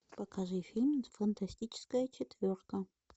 покажи фильм фантастическая четверка